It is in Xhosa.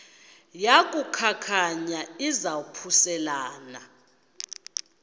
yaku khankanya izaphuselana